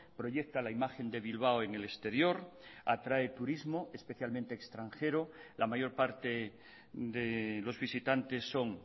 proyecta la imagen de bilbao en el exterior atrae turismo especialmente extranjero la mayor parte de los visitantes son